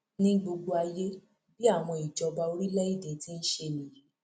ní gbogbo ayé bí àwọn ìjọba orílẹèdè ti ń ṣe nìyí